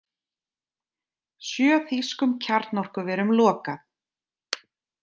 Sjö þýskum kjarnorkuverum lokað